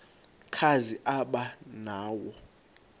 kazi aba nawo